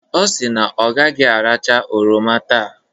Ọ si na ọ gaghị aracha oroma taa.